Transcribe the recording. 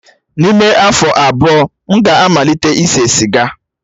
N'ime afọ abụọ, m ga-amalite ise siga.